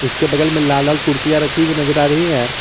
उसके बगल में लाल लाल कुर्सियां रखी हुई नजर आ रही है।